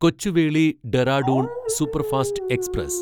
Kochuveli Dehradun superfast express